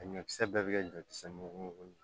A ɲɔkisɛ bɛɛ bɛ kɛ ɲɔkisɛ mugu ye